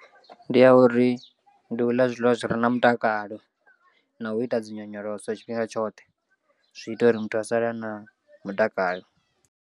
Ndi ya uri ndi u ḽa zwiḽiwa zwi re na mutakalo na u ita dzinyonyoloso tshifhinga tshoṱhe zwi ita uri muthu a sale a na mutakalo.